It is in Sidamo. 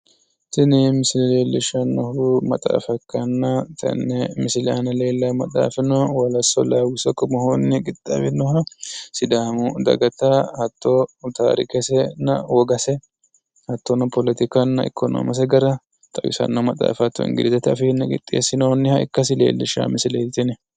Tini misile leellishshannohu maxaafa ikkanna tenne misile aana lellaawo maxaafi wolassa lawisso kume qixxaawinoha sidamu dagata hatto taarikesenna wogase hattonno politikkanna ikkonoomese gara xawisanno maxaafa hattono ingilizete afiinni qixxeessinoonnihs ikkasi leellishshawo misileeti tini.